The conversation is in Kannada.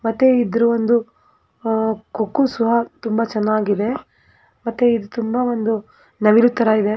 ಮತ್ತೆ ಇದರ ಒಂದು ಕೊಕ್ಕು ಸಹ ತುಂಬಾ ಚೆನ್ನಾಗಿದೆ ಮತ್ತು ಇದು ತುಂಬಾ ಒಂದು ನವಿಲು ತರ ಇದೆ.